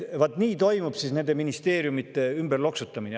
Vaat nii toimub nende ministeeriumide ümberloksutamine.